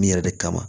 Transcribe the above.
Min yɛrɛ de kama